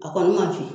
A kɔni man fin